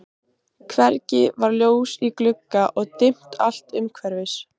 Hvergi var ljós í glugga og dimmt allt umhverfis.